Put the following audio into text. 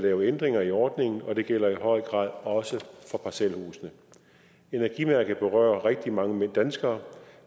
lave ændringer i ordningen og det gælder i høj grad også for parcelhuse energimærket berører rigtig mange danskere og